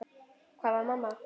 Hvar var mamma?